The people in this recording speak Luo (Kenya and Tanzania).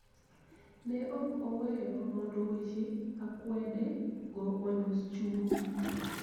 Ne ok oweyo mondo weche akwede go onyos chunye